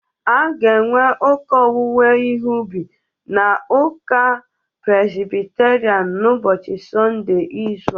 A ga enwe ụka owuwe ihe obi na uka Prezbiterian n'ụbochi Sonde izu a.